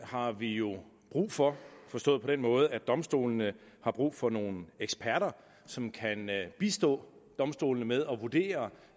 har vi jo brug for forstået på den måde at domstolene har brug for nogle eksperter som kan bistå domstolene med at vurdere